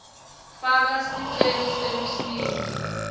faka sicelo selusito